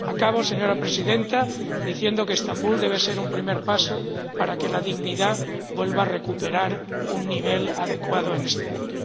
Acabo, señora Presidenta, diciendo que Estambul debe ser un primer paso para que la dignidad vuelva a recuperar un nivel adecuado en este mundo.